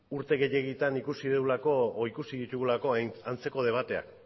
urte gehiegitan ikusi dugulako edo ikusi ditugulako antzeko debateak